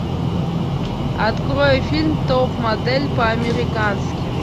открой фильм топ модель по американски